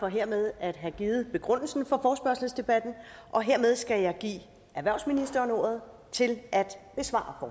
for hermed at have givet begrundelsen for forespørgselsdebatten og hermed skal jeg give erhvervsministeren ordet til at besvare